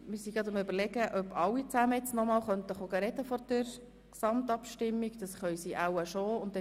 Wir überlegen gerade, ob vor der Gesamtabstimmung alle noch einmal sprechen dürfen.